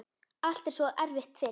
Allt er svo erfitt fyrst.